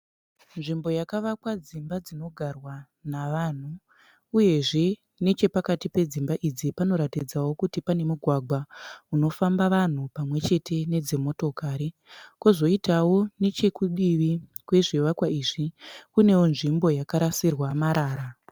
Nzvimbo yakavakwa dzimba dzinogarwa navanhu uyezve nechapakati pedzimba idzi panoratidzawo kuti pane mugwagwa unofamba vanhu pamwechete nedzimotokari kozoitawo nechekudivi kwezvivakwa izvi kunewo nzvimbo yakarasirwa marara.